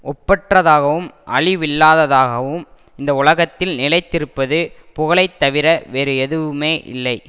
ஒப்பற்றதாகவும் அழிவில்லாததாகவும் இந்த உலகத்தில் நிலைத்திருப்பது புகழை தவிர வேறு எதுவுமே இல்லை